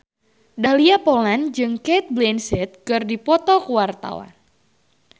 Dahlia Poland jeung Cate Blanchett keur dipoto ku wartawan